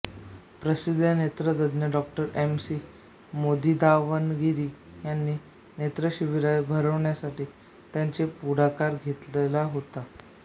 प्रसिद्ध नेत्रतज्ज्ञ डॉ एम सी मोदीदावणगिरी यांची नेत्रशिबिरे भरविण्यात त्यांनी पुढाकार घेतला होता